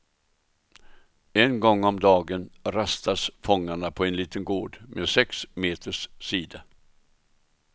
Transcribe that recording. En gång om dagen rastas fångarna på en liten gård med sex meters sida.